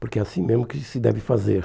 Porque é assim mesmo que se deve fazer.